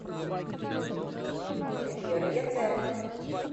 вера яценко